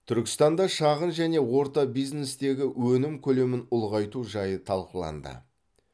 түркістанда шағын және орта бизнестегі өнім көлемін ұлғайту жайы талқыланды